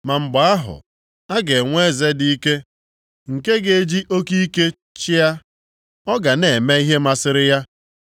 Ma mgbe ahụ, a ga-enwe eze dị ike nke ga-eji oke ike chịa. Ọ ga na-eme ihe masịrị ya.